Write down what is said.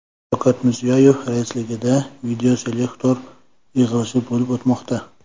Shavkat Mirziyoyev raisligida videoselektor yig‘ilishi bo‘lib o‘tmoqda.